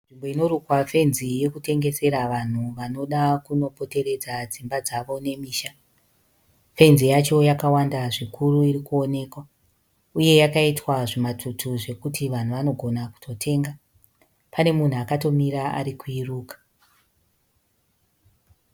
Nzvimbo inorukwa fenzi yekutengesera vanhu vanoda kunopoteredza dzimba dzavo nemisha. Fenzi yacho yakawanda zvikuru irikuonekwa. Uye yakaitwa zvimatutu zvekuti vanhu vanogona kuitotenga. Pane munhu akatomira arikuiruka.